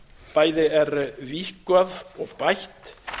bæði er víkkað og bætt